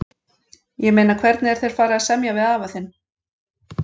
Ég meina hvernig er þér farið að semja við afa þinn?